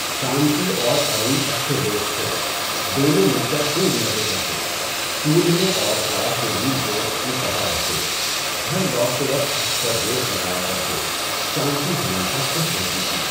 شانتی اور ارون اچھے دوست تھے، دونوں مل کر خوب مزے کرتے، اسکول میں اور کلاس میں بھی دوست کی طرح رہتے، گھر لوٹتے وقت اکثر ریس لگایا کرتے۔ شانتی ہمیشہ خوش رہتی تھی۔